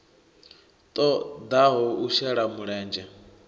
ṱo ḓaho u shela mulenzhe